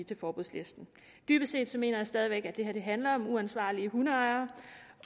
til forbudslisten dybest set mener jeg stadig væk at det her handler om uansvarlige hundeejere